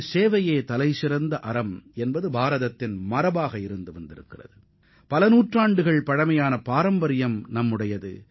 சேவையே சிறந்தது என்பது பன்நெடுங்காலமாக இந்தியாவின் பாரம்பரியமாக உள்ளது